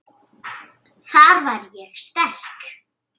Þar var ég sterk.